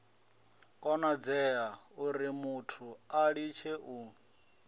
konadzea urimuthu a litshe u